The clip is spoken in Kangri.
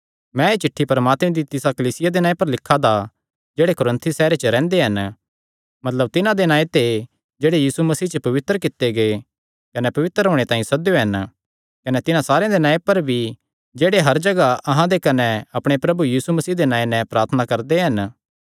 मैं एह़ चिठ्ठी परमात्मे दी तिसा कलीसिया दे नांऐ पर लिखा दा जेह्ड़े कुरिन्थुस सैहरे च रैंह्दे हन मतलब तिन्हां दे नांऐ पर जेह्ड़े यीशु मसीह च पवित्र कित्ते गै कने पवित्र होणे तांई सद्देयो हन कने तिन्हां सारेयां दे नांऐ पर भी जेह्ड़े हर जगाह अहां दे कने अपणे प्रभु यीशु मसीह दे नांऐ नैं प्रार्थना करदे हन